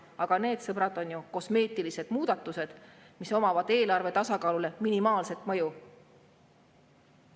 Aga need, sõbrad, on ju kosmeetilised muudatused, millel on eelarve tasakaalule minimaalne mõju.